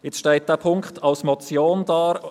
Jetzt steht Punkt 5 als Motion da.